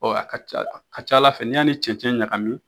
Ɔ a kaca a kaca Ala fɛ n'i y'a ni cɛncɛn ɲagami